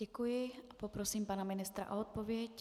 Děkuji a poprosím pana ministra o odpověď.